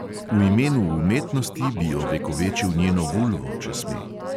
V imenu umetnosti bi ovekovečil njeno vulvo, če sme.